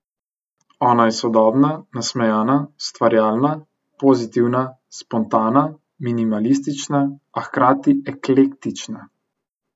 Ona je sodobna, nasmejana, ustvarjalna, pozitivna, spontana, minimalistična, a hkrati eklektična.